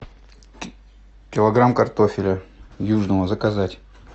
килограмм картофеля южного заказать